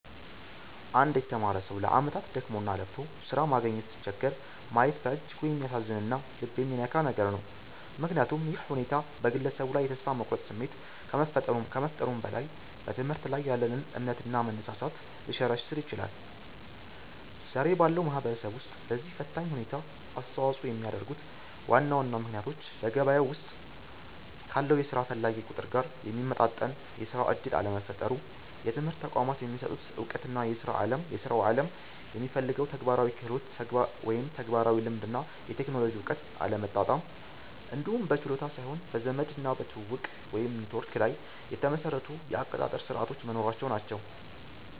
አንድ የተማረ ሰው ለዓመታት ደክሞና ለፍቶ ሥራ ማግኘት ሲቸገር ማየት በእጅጉ የሚያሳዝንና ልብ የሚነካ ነገር ነው፤ ምክንያቱም ይህ ሁኔታ በግለሰቡ ላይ የተስፋ መቁረጥ ስሜት ከመፍጠሩም በላይ፣ በትምህርት ላይ ያለንን እምነትና መነሳሳት ሊሸረሽር ይችላል። ዛሬ ባለው ማህበረሰብ ውስጥ ለዚህ ፈታኝ ሁኔታ አስተዋጽኦ የሚያደርጉት ዋና ዋና ምክንያቶች በገበያው ውስጥ ካለው የሥራ ፈላጊ ቁጥር ጋር የሚመጣጠን የሥራ ዕድል አለመፈጠሩ፣ የትምህርት ተቋማት የሚሰጡት ዕውቀትና የሥራው ዓለም የሚፈልገው ተግባራዊ ክህሎት (ተግባራዊ ልምድ እና የቴክኖሎጂ እውቀት) አለመጣጣም፣ እንዲሁም በችሎታ ሳይሆን በዘመድና በትውውቅ (ኔትወርክ) ላይ የተመሰረቱ የአቀጣጠር ሥርዓቶች መኖራቸው ናቸው።